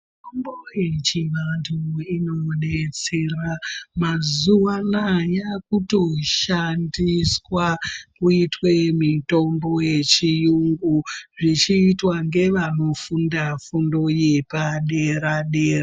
Mitombo yechivantu inodetsera mazuva anaa yakutoshandiswa kuitwe mitombo yechiyungu zvichiitwa ngevanofunda fundo yepadera dera.